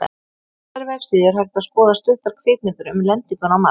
Á þessari vefsíðu er hægt að skoða stuttar kvikmyndir um lendinguna á Mars.